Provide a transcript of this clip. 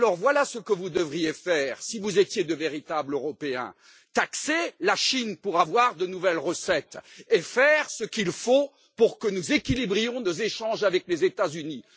Alors voilà ce que vous devriez faire, si vous étiez de véritables Européens taxer la Chine pour avoir de nouvelles recettes et faire ce qu'il faut pour que nous équilibrions nos échanges avec les États Unis.